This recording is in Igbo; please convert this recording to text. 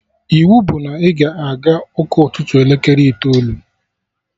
Iwu bụ na ị ga-aga ụka ụtụtụ elekere itoolu!